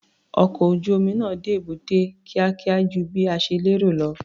Ọkọ̀ ojú-omi náà dé èbúté kíákíá ju bí a ṣe lérò lọ.